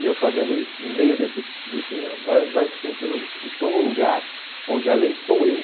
E eu fazendo isso, no meio desse desse... Vai vai sentindo... Estou no lugar onde a lei sou eu.